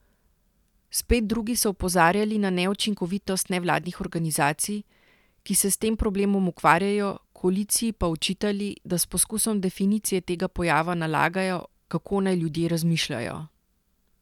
Spet drugi so opozarjali na neučinkovitost nevladnih organizacij, ki se s tem problemom ukvarjajo, koaliciji pa očitali, da s poskusom definicije tega pojava nalagajo, kako naj ljudje razmišljajo.